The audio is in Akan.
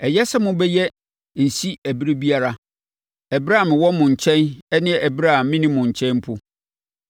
Ɛyɛ sɛ mobɛyɛ nsi ɛberɛ biara, ɛberɛ a mewɔ mo nkyɛn ne ɛberɛ a menni mo nkyɛn mpo.